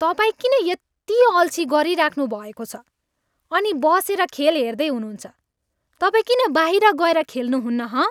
तपाईँ किन यति अल्छी गरिराख्नु भएको छ अनि बसेर खेल हेर्दै हुनुहुन्छ? तपाईँ किन बाहिर गएर खेल्नुहुन्न हँ?